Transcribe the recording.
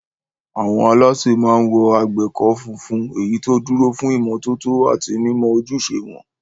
Àwọn alásè máa ń wọ àgbékọ́ funfun, èyí tó dúró fún ìmọ́tótó àti mímọ ojúṣe wọn.